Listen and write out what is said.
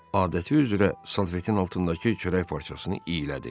Adəti üzrə salfetin altındakı çörək parçasını iylədi.